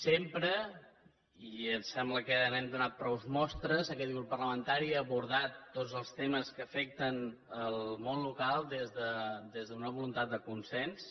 sempre i em sembla que n’hem donat prou mostres aquest grup parlamentari ha abordat tots els temes que afecten el món local des d’una voluntat de consens